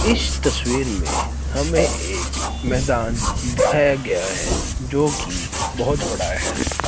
इस तस्वीर में हमें एक मैदान दिखाया गया है जो की बहोत बड़ा है।